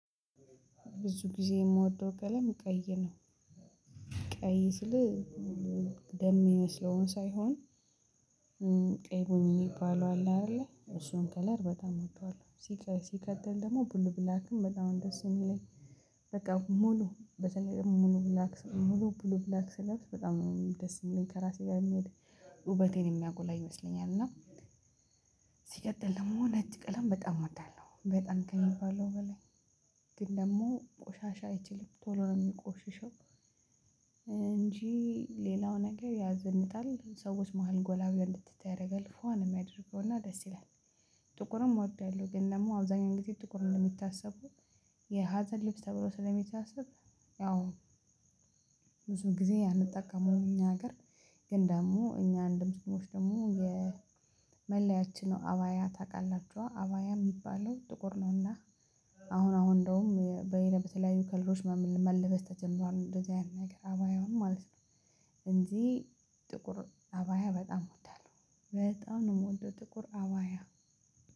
ብዙ ጊዜ የምወደው ቀለም ቀይ ነው። ቀይ ስልህ ደም የሚመስለዉን ሳይሆን ቀይሞኝ የሚባለው አለ አይደለ እሱን ከለር በጣም እወደዋለሁ። ሲቀጥል ደግሞ ብሉ ብላክም በጣም ደስ የሚለኝ። በቃ ሙሉ በተለይ ሙሉ ብላክ ሙሉ ብላክ ስለብስ በጣም ደስ የሚለኝ ከራሴ ጋር የሚሄድ ውበቴን የሚያጎላ ይመስለኛል። እና ሲቀጥል ደግሞ ነጭ ቀለም በጣም እወዳለሁ በጣም ከሚባለው በላይ። ግን ደግሞ ቆሻሻ አይችልም። ቶሎ ነው የሚቆሽሸው። እንጂ ሌላው ነገር ያዘንጣል ሰዎች መሃል ጎላ ብለህ እንድትታይ ያደርጋል ፏ ነው የምያደርገውና ደስ ይላል። ጥቁርም እወዳለሁ ግን ደግሞ አብዛኛው ጊዜ ጥቁር እንደሚታሰበው የሀዘን ልብስ ተብሎ ስለሚታሰብ ያው ብዙ ጊዜ አንጠቀመዉም እኛ ሀገር። ግን ደግሞ እኛ እንደ ሙስሊሞች ደግሞ የመለያችን አባያ ታውቃላችሁ አባያ የሚባለው ጥቁር ነውና አሁን አሁን በተለያዩ ከለሮች መለበስ ተጀምሯል። እንደዚህ አይነት ነገር አባያው ማለት ነው። ሁልጊዜ ጥቁር አባያ በጣም በጣም ነው የምወደው ጥቁር አባያ።